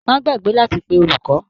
Má gbàgbé láti pe olùkọ!